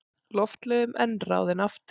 Loftleiðum en ráðinn aftur.